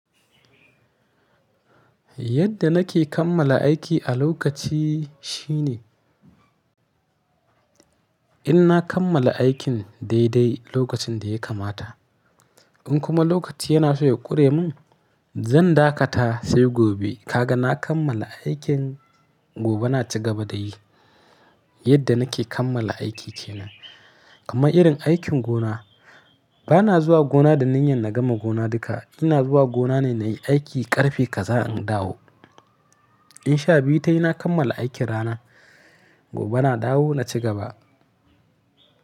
Yadda nake kammala aiki a lokaci shine in na kammala aikin daidai lokacin da ya kamata. In kuma lokaci yana so ya ƙure min, zan dakata sai gobe. Kaga na kammala aikin gobe na ci gaba da yi. Yadda nake kammala aiki shine. Kuma irin aikin gona, ba na zuwa gona da niyyar na gama gona duka. Ina zuwa gona ne na yi aiki ƙarfe kaza in dawo. In sha biyu ta yi na kammala aikin rana, gobe na dawo na ci gaba.